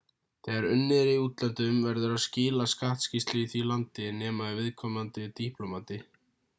þegar unnið er í útlöndum verður að skila skattskýrslu í því landi nema ef viðkomandi er diplómati